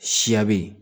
Siya bɛ ye